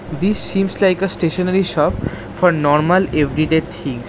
This seems like a stationary shop for normal everyday things.